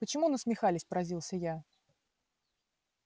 почему насмехались поразился я